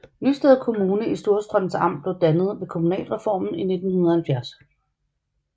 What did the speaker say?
Nysted Kommune i Storstrøms Amt blev dannet ved kommunalreformen i 1970